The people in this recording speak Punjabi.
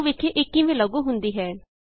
ਆਉ ਵੇਖੀਏ ਇਹ ਕਿਵੇਂ ਲਾਗੂ ਹੁੰਦੀ ਹੈ